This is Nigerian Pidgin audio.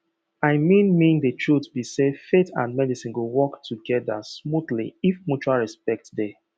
i mean mean the truth be sayfaith and medicine go work together smoothly if mutual respect dey